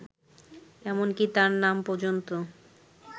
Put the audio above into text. এমনকি তার নাম পর্যন্ত